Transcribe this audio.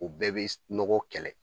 O bɛɛ be nɔgɔ kɛlɛ